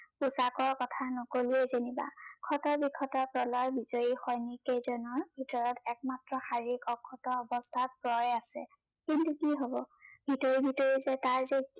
ক্থা নকলোৱে যেনিবা প্ৰলয় বিজয়ি সৈনিক কেইজনৰ ভিতৰত মাজত একমাত্ৰ শাৰীৰিক অৱস্থাত ক্ৰয় আছে কিন্তু কি হৱ ভিতৰি ভিতৰি যে কাৰ যে